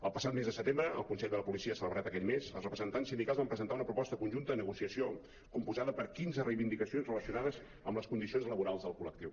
el passat mes de setembre el consell de la policia celebrat aquell mes els representants sindicals van presentar una proposta conjunta de negociació composada per quinze reivindicacions relacio·nades amb les condicions laborals del col·lectiu